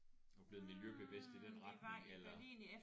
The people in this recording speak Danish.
Er du blevet miljøbevidst i den retning eller